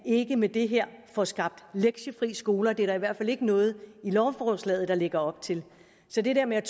ikke med det her får skabt lektiefrie skoler det er der i hvert fald ikke noget i lovforslaget der lægger op til så det her med